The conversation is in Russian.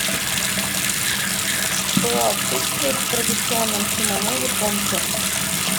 что отсутствует в традиционном кимоно японки